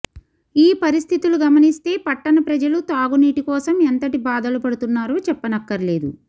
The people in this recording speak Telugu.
ఈ పరిస్థితులు గమనిస్తే పట్టణ ప్రజలు తాగునీటి కోసం ఎంతటి బాధలు పడుతున్నారో చెప్పనక్కర్లేదు